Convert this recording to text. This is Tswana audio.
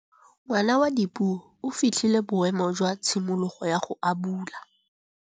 Ngwana wa Dipuo o fitlhile boêmô jwa tshimologô ya go abula.